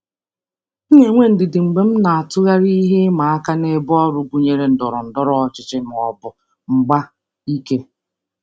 M na-enwe ndidi mgbe m na-atụgharị ihe ịma aka n'ebe ọrụ gụnyere ndọrọ ndọrọ ọchịchị ma ọ bụ mgba ike.